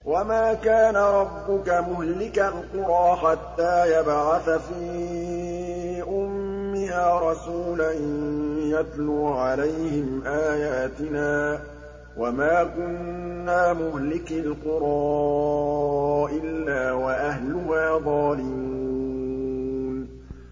وَمَا كَانَ رَبُّكَ مُهْلِكَ الْقُرَىٰ حَتَّىٰ يَبْعَثَ فِي أُمِّهَا رَسُولًا يَتْلُو عَلَيْهِمْ آيَاتِنَا ۚ وَمَا كُنَّا مُهْلِكِي الْقُرَىٰ إِلَّا وَأَهْلُهَا ظَالِمُونَ